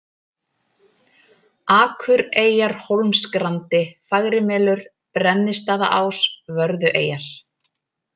Akureyjarhólmsgrandi, Fagrimelur, Brennistaðaás, Vörðueyjar